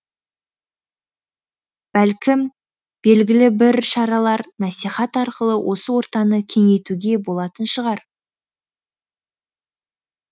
бәлкім белгілі бір шаралар насихат арқылы осы ортаны кеңейтуге болатын шығар